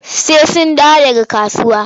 Sai sun dawo daga kasuwa.